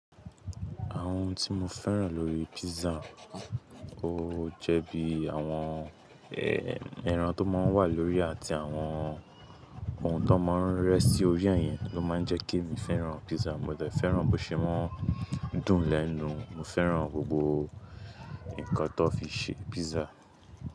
Àwọn tí mo fẹ́ràn lórí pizza, ó jẹ́ bí àwọn ẹran tó máa ń wà lórí àti àwọn ohun tó máa ń rẹ́ sí orí ẹ̀ yẹn ló máa ń jẹ́ kí èmi fẹ́ràn pizza. Mo dẹ̀ fẹ́ràn bó ṣe ma ń dùn lẹ́nu, mo fẹ́ràn gbogbo nǹkan tó fi ṣe pizza.